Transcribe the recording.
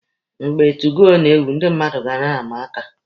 Mgbe 2goo na-ewu, ndị mmadụ ga na-ama aka.